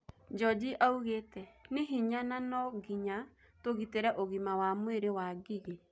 Njũjĩ augete," Nĩ hinya na nũnginya tũgitĩre ũgima wa mwĩrĩ wa Ngigi